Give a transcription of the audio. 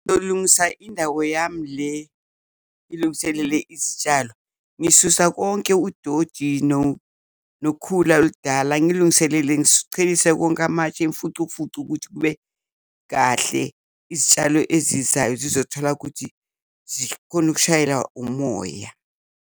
Ngizolungisa indawo yami le ngilungiselele izitshalo ngisusa konke udodi nokhula oludala ngilungiselele ngicelise konke amatshe emfucumfucu ukuthi kube kahle, izitshalo ezizayo zizothola ukuthi zikhone ukushayela umoya.